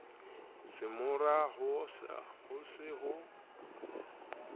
se mara ha se ho